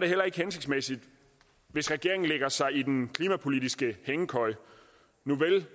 det heller ikke hensigtsmæssigt hvis regeringen lægger sig i den klimapolitiske hængekøje nuvel